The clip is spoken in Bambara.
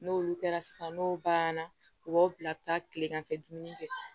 N'olu kɛra sisan n'o banna u b'aw bila ka taa tilegan fɛ dumuni kɛ